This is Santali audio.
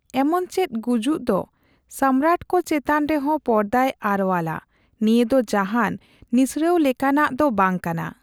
ᱮᱢᱚᱱᱪᱮᱫ ᱜᱩᱡᱩᱜ ᱫᱚ ᱥᱚᱢᱢᱨᱟᱴᱠᱚ ᱪᱮᱛᱟᱱ ᱨᱮᱦᱚᱸ ᱯᱚᱨᱫᱟᱭ ᱟᱨᱣᱟᱞᱟ; ᱱᱤᱭᱟᱹ ᱫᱚ ᱡᱟᱦᱟᱸᱱ ᱱᱤᱥᱲᱟᱹᱣ ᱞᱮᱠᱟᱱᱟᱜ ᱫᱚ ᱵᱟᱝ ᱠᱟᱱᱟ ᱾